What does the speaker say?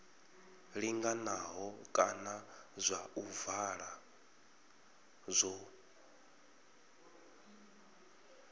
linganaho kana zwa ovala zwo